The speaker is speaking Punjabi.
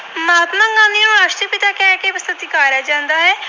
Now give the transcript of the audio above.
ਸਤਿਕਾਰਿਆ ਜਾਂਦਾ ਹੈ।